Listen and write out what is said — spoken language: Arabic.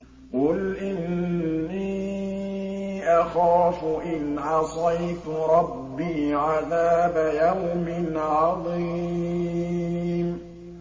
قُلْ إِنِّي أَخَافُ إِنْ عَصَيْتُ رَبِّي عَذَابَ يَوْمٍ عَظِيمٍ